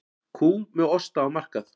Kú með osta á markað